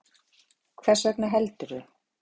Hvers vegna heldurðu?